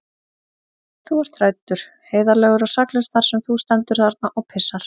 Þú ert hræddur, heiðarlegur og saklaus þar sem þú stendur þarna og pissar.